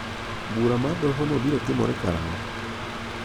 Bura mar dohono biro timore karang'o?